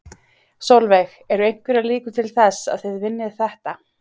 Sólveig: Eru einhverjar líkur til þess að þið vinnið þetta?